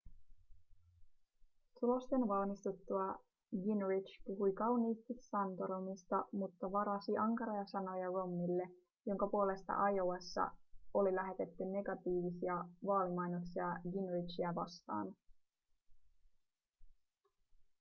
tulosten valmistuttua gingrich puhui kauniisti santorumista mutta varasi ankaria sanoja romneylle jonka puolesta iowassa oli lähetetty negatiivisia vaalimainoksia gingrichiä vastaan